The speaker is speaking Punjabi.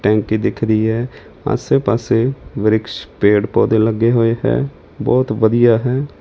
ਟੈਂਕੀ ਦਿਖਦੀ ਹੈ ਆਸੇ ਪਾਸੇ ਵਰਿਕਸ਼ ਪੇਡ ਪੌਦੇ ਲੱਗੇ ਹੋਏ ਹੈ ਬਹੁਤ ਵਧੀਆ ਹੈ।